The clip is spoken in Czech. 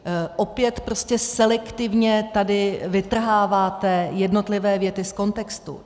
Opět prostě selektivně tady vytrháváte jednotlivé věty z kontextu.